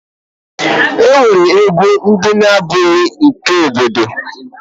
E nwere egwu na abụghị nke ndị obodo.